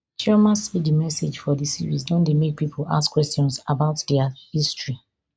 chioma say di message for di series don dey make pipo ask questions about dia history